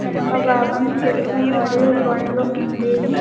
వెనక భాగం చెట్లు మరియు బండ్లు ఉంది.